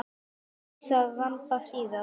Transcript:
Þar kýs að ramba síðast.